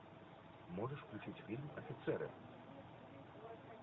можешь включить фильм офицеры